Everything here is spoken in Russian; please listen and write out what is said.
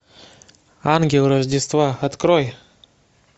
ангел рождества открой